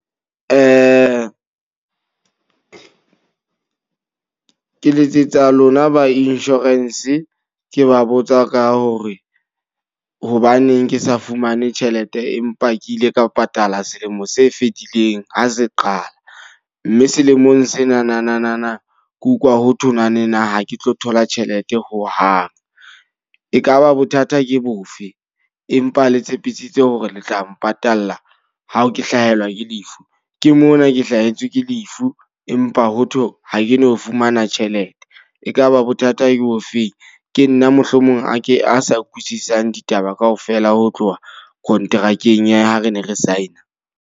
Ke letsetsa lona ba insurance. Ke ba botsa ka hore hobaneng ke sa fumane tjhelete empa ke ile ka patala selemo se fetileng ho se qala. Mme selemong senanana ke utlwa ho thwe ha ke tlo thola tjhelete ho hang. Ekaba bothata ke bofe? Empa le tshepisitse hore le tla mpatalla ha ke hlahelwa ke lefu. Ke mona ke hlahetswe ke lefu. Empa ho thwe ha ke no fumana tjhelete. Ekaba bothata ke o feng? Ke nna mohlomong a ke a sa utlwisisang ditaba kao fela ho tloha kontrakeng ya ha re ne re sign-a.